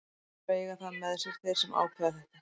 Þeir þurfa að eiga það með sér, þeir sem ákveða þetta.